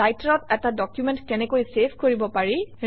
ৰাইটাৰত এটা ডকুমেণ্ট কেনেকৈ চেভ কৰিব পাৰি